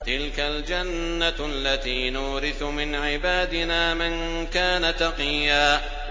تِلْكَ الْجَنَّةُ الَّتِي نُورِثُ مِنْ عِبَادِنَا مَن كَانَ تَقِيًّا